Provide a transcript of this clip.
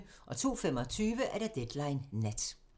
02:25: Deadline Nat